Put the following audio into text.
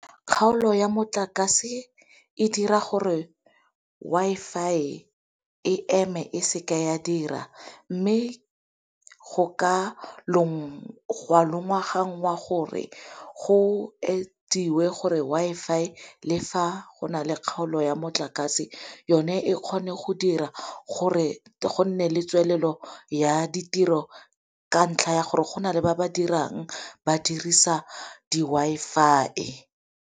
Kgaolo ya motlakase e dira gore Wi-Fi e eme e seke ya dira, mme go ka longwaganngwa gore go ediwe gore Wi-Fi le fa go na le kgaolo ya motlakase yone e kgone go dira gore go nne le tswelelo ya ditiro ka ntlha ya gore go na le ba ba dirang ba dirisa di-Wi-Fi.